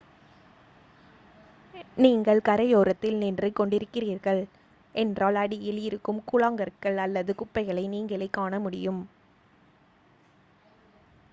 நீங்கள் கரையோரத்தில் நின்று கொண்டிருக்கிறீர்கள் என்றால் அடியில் இருக்கும் கூழாங்கற்கள் அல்லது குப்பைகளை நீங்களே காணமுடியும்